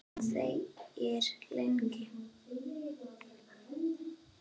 Hún þegir lengi.